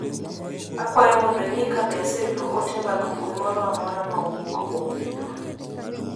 Akwayo mondo ing'i ka be aseyudo ote mag mbui moro amora ma owuok kuom minwa.